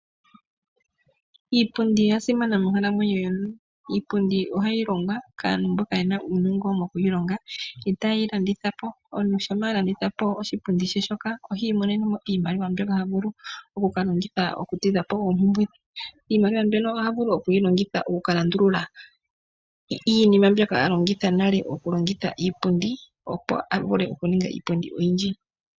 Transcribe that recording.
Iipundi ya simana monkalamwenyo yomuntu. Iipundi ohayi longwa kaantu mboka ye na uunongo moku yi longa. Yo taye yi landitha po. Omuntu shampa a landitha po oshipundi she shoka ohi imonene mo iimaliwa mbyoka ha vulu oku ka longitha okutidha po oompumbwe dhe. Iimaliwa mbyono oha vulu oku yi longitha oku ka landulula iinima mbyoka a longitha nale okulonga iipundi, opo a vule okuninga iipundi oyindji.